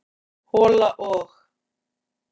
hola og.